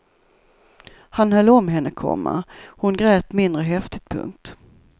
Han höll om henne, komma hon grät mindre häftigt. punkt